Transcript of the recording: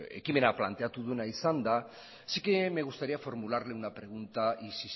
ekimena planteatu duena izan da sí que me gustaría formularle una pregunta y